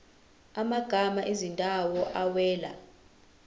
amagama ezindawo awela